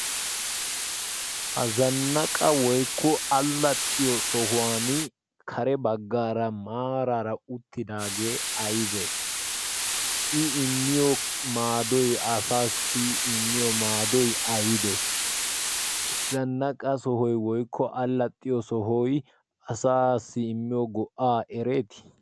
ha zannaqa woikko allaxxiyo sohuwan kare baggaara maaraara uttinaagee aibee i immiyo maadoi asaasi immiyo maadoy aybee zannaqa sohoy woikko allaxxiyo sohoy asassi immiyo go''aa ereetii